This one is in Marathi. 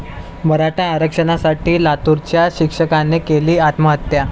मराठा आरक्षणासाठी लातूराच्या शिक्षकाने केली आत्महत्या